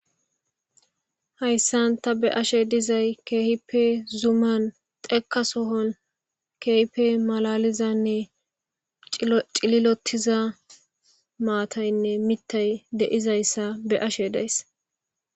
Hayisan ta be'ashe dizayis kehipe zuman dheka sohan kehippe malalizanne cililotiza matayinne mitay dizayisa be'ashe dizayis